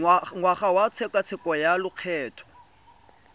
ngwaga wa tshekatsheko ya lokgetho